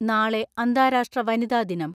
നാളെ അന്താരാഷ്ട്ര വനിതാദിനം.